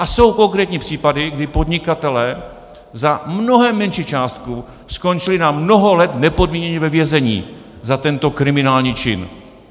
A jsou konkrétní případy, kdy podnikatelé za mnohem menší částku skončili na mnoho let nepodmíněně ve vězení za tento kriminální čin.